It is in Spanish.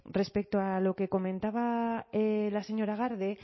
respecto a lo que comentaba la señora garde